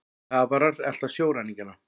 Kafarar elta sjóræningjana